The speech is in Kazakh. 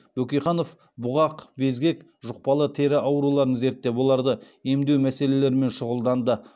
бөкейханов бұғақ безгек жұқпалы тері ауруларын зерттеп оларды емдеу мәселелерімен шұғылданды